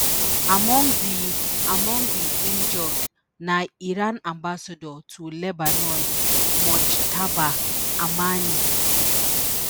among di among di injured na iran ambassador to lebanon mojtaba amani